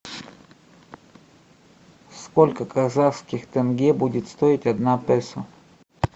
сколько казахских тенге будет стоить одна песо